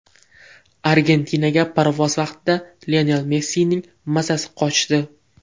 Argentinaga parvoz vaqtida Lionel Messining mazasi qochdi.